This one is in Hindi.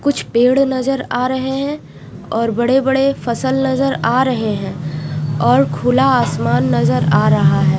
कुछ पेड़ नजर आ रहे है और बड़े बड़े फसल नजर आ रहे है और खुला आसमान नजर आ रहा है।